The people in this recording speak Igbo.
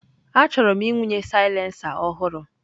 Achọrọ m ịwụnye silencer ọhụrụ.